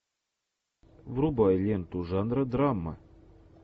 врубай ленту жанра драма